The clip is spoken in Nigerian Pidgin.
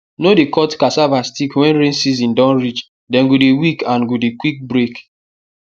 no dey cut cassava stick when rain season don reach them go dey weak and go dey quick break